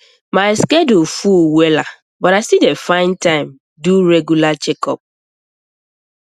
my schedule full wella but i still dey find find time do regular checkups